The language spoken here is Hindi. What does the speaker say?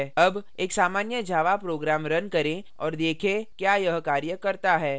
अब एक सामान्य java program now करें और देखें क्या यह कार्य करता है